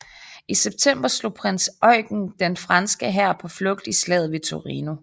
I september slog prins Eugen den franske hær på flugt i slaget ved Torino